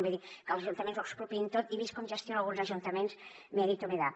vull dir que els ajuntaments ho expropiïn tot i vist com gestionen alguns ajuntaments miedito me da